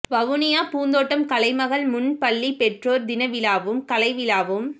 வவுனியா பூந்தோட்டம் கலைமகள் முன்பள்ளி பெற்றோர் தின விழாவும் கலை விழாவும்